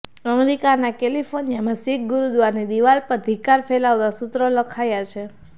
અમેરિકાના કેલિફોર્નિયામાં શિખ ગુરુદ્વારાની દિવાલ પર ધિક્કાર ફેલાવતા સૂત્રો લખાયા છે